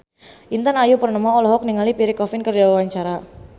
Intan Ayu Purnama olohok ningali Pierre Coffin keur diwawancara